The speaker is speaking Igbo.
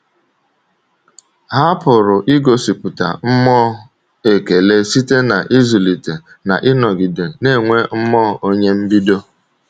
Ha pụrụ igosipụta mmụọ ekele site n’ịzụlite na ịnọgide na-enwe mmụọ onye mbido.